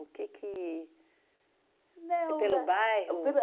que que... Não é. É pelo bairro? Pelo